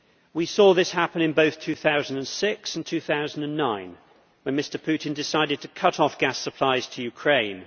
We saw this happen in both 2006 and 2009 when Mr Putin decided to cut off gas supplies to Ukraine.